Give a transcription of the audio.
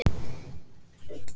Túrinn tók sex mánuði.